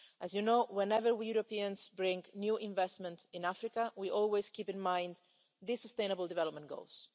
As you know, whenever we Europeans bring new investment to Africa we always bear in mind the Sustainable Development Goals.